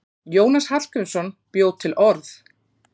Jónas Hallgrímsson bjó til orð.